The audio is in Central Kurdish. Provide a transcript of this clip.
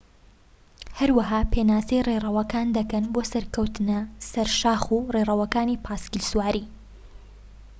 هەروەها پێناسەی ڕێڕەوەکان دەکەن بۆ سەرکەوتنە سەر شاخ و ڕێڕەوەکانی پاسکیل سواری